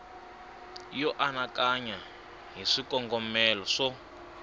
yo anakanya hi swikongomelo swo